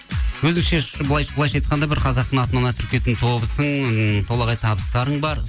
өзіңше былайынша айтқанда бір қазақтың атынан ат үркейтін тобысың толағай табыстарың бар